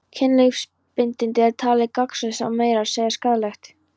Kynlífsbindindi er talið gagnslaust og meira að segja skaðlegt.